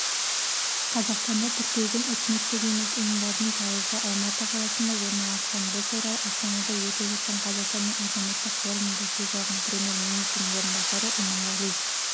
қазақстанда тіркелген үкіметтік емес ұйымдардың пайызы алматы қаласында орналасқан бұл туралыастанада өтіп жатқан қазақстанның азаматтық форумында сөз алған премьер-министрдің орынбасары иманғали